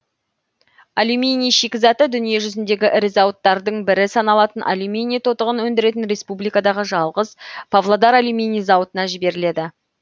алюминий шикізаты дүние жүзіндегі ірі зауыттардың бірі саналатын алюминий тотығын өндіретін республикадағы жалғыз павлодар алюминий зауытына жіберіледі